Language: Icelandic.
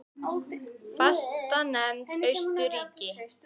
Fastanefnd Austurríki